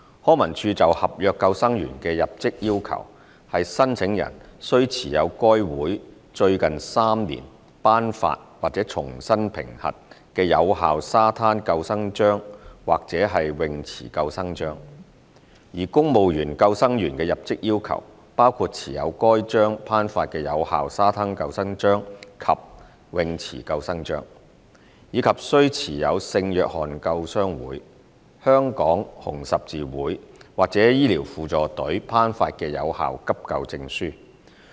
康文署就合約救生員的入職要求是申請人須持有該會在最近3年頒發或重新評核的有效沙灘救生章或泳池救生章；而公務員救生員的入職要求包括持有該會頒發的有效沙灘救生章及泳池救生章，以及須持有聖約翰救傷會、香港紅十字會或醫療輔助隊頒發的有效急救證書。